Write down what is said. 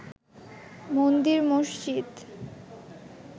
মন্দির মসজিদ